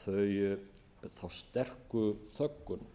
þá sterku þöggun